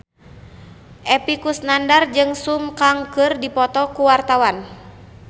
Epy Kusnandar jeung Sun Kang keur dipoto ku wartawan